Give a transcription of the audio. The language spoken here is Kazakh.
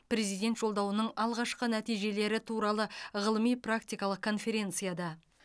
президент жолдауының алғашқы нәтижелері туралы ғылыми практикалық конференцияда